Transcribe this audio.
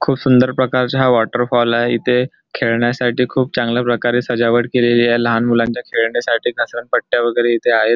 खूप सुंदर प्रकारचा हा वॉटर फॉल आहे इथे खेळण्यासाठी सगळ्या प्रकारची सजावट केली आहे लहान मुलांना खेळण्यासाठी घसरण पट्ट्या वैगरे इथे आहेत.